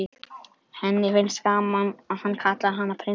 Henni finnst gaman að hann kallar hana prinsessu.